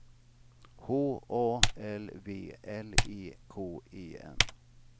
H A L V L E K E N